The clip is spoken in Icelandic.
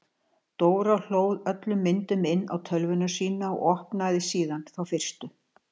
Dóra hlóð öllum myndunum inn á tölvuna sína og opnaði síðan þá fyrstu.